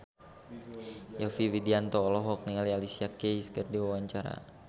Yovie Widianto olohok ningali Alicia Keys keur diwawancara